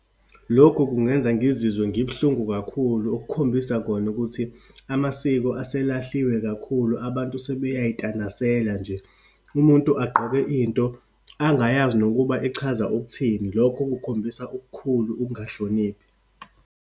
Lokhu kungenza ngizizwe ngibuhlungu kakhulu, okukhombisa khona ukuthi amasiko eselahliwe kakhulu. Abantu sebeyayitanasela nje, umuntu agqoke into angayazi nokuba ichaza ukuthini. Lokho kukhombisa okukhulu ukungahloniphi.